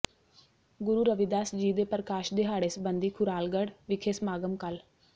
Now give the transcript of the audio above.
ਗੁਰੂ ਰਵਿਦਾਸ ਜੀ ਦੇ ਪ੍ਰਕਾਸ਼ ਦਿਹਾੜੇ ਸਬੰਧੀ ਖੁਰਾਲਗੜ੍ਹ ਵਿਖੇ ਸਮਾਗਮ ਕੱਲ੍ਹ